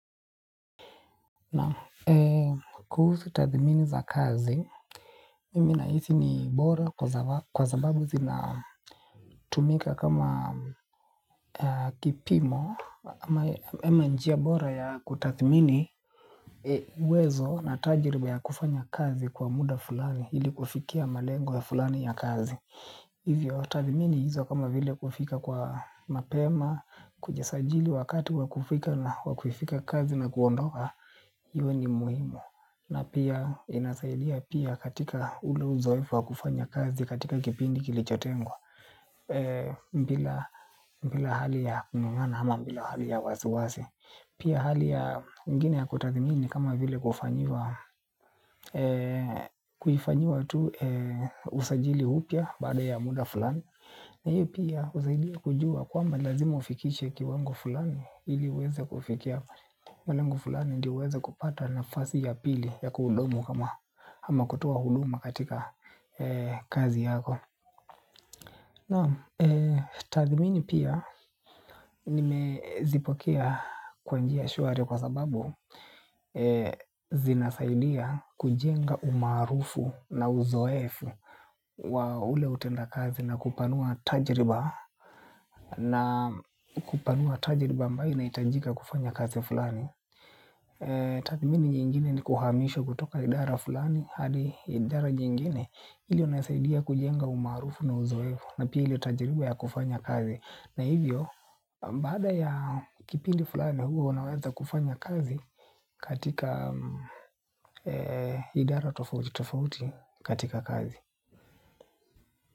Na kuhusu tathimini za kazi, mimi na hisi ni bora kwa sababu zina tumika kama kipimo ama njia bora ya kutathimini uwezo na tajiriba ya kufanya kazi kwa muda fulani ili kufikia malengo ya fulani ya kazi. Hivyo tathimini hizo kama vile kufika kwa mapema, kujisajili wakati wa kufika kazi na kuondoka hio ni muhimu na pia inasaidia pia katika ule uzoefu wa kufanya kazi katika kipindi kilichotengwa bila hali ya kung'ang'ana ama bila hali ya wasiwasi pia hali ya ingine ya kutathimini kama vile kufanyiwa kuifanyiwa tu usajili upya baada ya muda fulani na hiyo pia husaidia kujua kwamba lazima ufikiche kiwango fulani ili uweze kufikia malengo fulani ndio uweze kupata na fasi ya pili ya kuhudumu kama ama kutoa huduma katika kazi yako. Na tathimini pia nime zipokea kwanjia shwari kwa sababu zinasaidia kujenga umaarufu na uzoefu wa ule utenda kazi na kupanua tajriba. Na kupanua tajriba ambayo ina hitajika kufanya kazi fulani. Tathimini nyingine ni kuhamishwa kutoka idara fulani hadi idara nyingine ili unasaidia kujenga umaarufu na uzoefu. Na pia ile tajiriba ya kufanya kazi na hivyo, baada ya kipindi fulani hua unaweza kufanya kazi. Katika idara tofauti katika kazi.